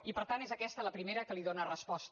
i per tant és aquesta la primera que li dóna resposta